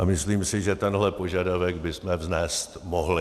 A myslím si, že tenhle požadavek bychom vznést mohli.